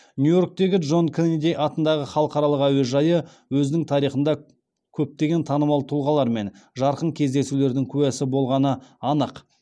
нью иорктегі джон кеннеди атындағы халықаралық әуежайы өзінің тарихында көптеген танымал тұлғалар мен жарқын кездесулердің куәсі болғаны анық